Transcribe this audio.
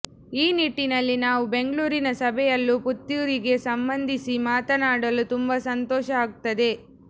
ಈ ನಿಟ್ಟಿನಲ್ಲಿ ನಾವು ಬೆಂಗಳೂರಿನ ಸಭೆಯಲ್ಲೂ ಪುತ್ತೂರಿಗೆ ಸಂಬಂಧಿಸಿ ಮಾತನಾಡಲು ತುಂಬಾ ಸಂತೋಷ ಆಗುತ್ತದೆ